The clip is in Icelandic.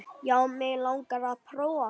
Já, mig langar að prófa.